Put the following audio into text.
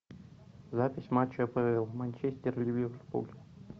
запись матча апл манчестер ливерпуль